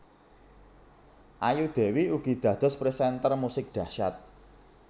Ayu Dewi ugi dados presenter musik dahsyat